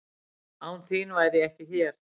Án þín væri ég ekki hér.